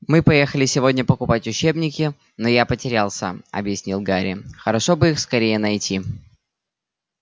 мы поехали сегодня покупать учебники но я потерялся объяснил гарри хорошо бы их скорее найти